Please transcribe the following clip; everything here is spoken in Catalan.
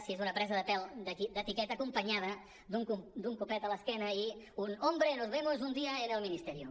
si és una presa de pèl d’etiqueta acompanyada d’un copet a l’esquena i un hombre nos vemos un día en el ministerio